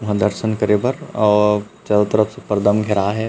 वहाँ दर्शन करे बर और चारो तरफ से पर्दा म घेराए हे।